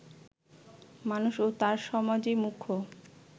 মানুষ ও তার সমাজই মুখ্য